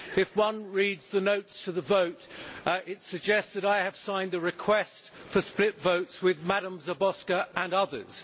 If one reads the notes to the vote it is suggested I have signed the request for split votes with Madam Záborská and others.